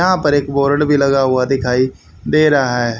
यहां पर एक बोर्ड भी लगा हुआ दिखाई दे रहा है।